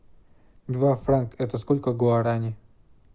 два франка это сколько гуарани